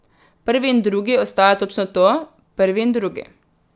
Prvi in drugi ostaja točno to, prvi in drugi.